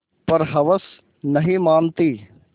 पर हवस नहीं मानती